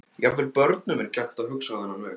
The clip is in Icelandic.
Jafnvel börnum er gjarnt að hugsa á þennan veg.